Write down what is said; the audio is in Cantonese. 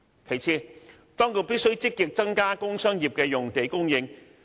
其次，當局必須積極增加工商業的用地供應。